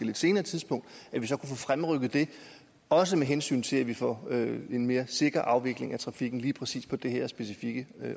lidt senere tidspunkt og fremrykket det også med hensyn til at vi får en mere sikker afvikling af trafikken lige præcis på det her specifikke